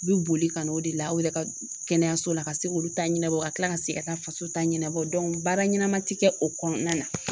U bi boli ka n'o de la aw yɛrɛ ka kɛnɛyaso la ka se k'olu ta ɲɛnabɔ ka tila ka se ka taa faso ta ɲɛnabɔ dɔnku baara ɲɛnama ti kɛ o kɔnɔna na